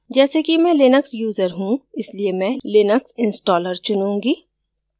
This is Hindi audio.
जैसे कि मैं लिनक्स यूजर choose इसलिए मैं linux installer चुनुंगी